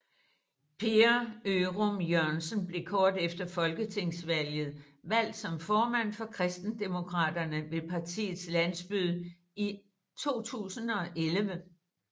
Per Ørum Jørgensen blev kort efter folketingsvalget valgt som formand for Kristendemokraterne ved partiets landsmøde i 2011